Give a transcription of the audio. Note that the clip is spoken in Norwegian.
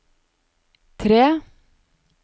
tre